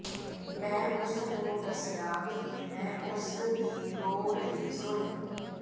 ਮੈਂ ਉਸ ਨੂੰ ਦੱਸਿਆ ਕਿ ਮੈਂ ਉਸ ਦੀ ਰੋ ਰਹੀ ਸੁਣੀ